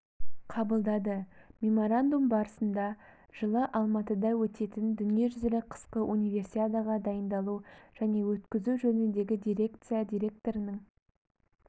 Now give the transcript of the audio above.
қабылдады меморандум барысында жылы алматыда өтетін дүниежүзілік қысқы универсиадаға дайындалу және өткізу жөніндегі дирекция директорының